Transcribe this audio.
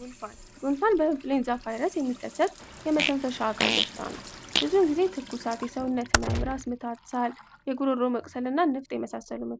ጉንፋን ጉንፋን ቫይረስ የሚከሰት የመተንፈሻ አካል በሽታ ነው ብዙ ጊዜ ትኩሳት ሰው መምራት የጉሮሮ መቅሰፍንና ነፍስ የመሳሰሉ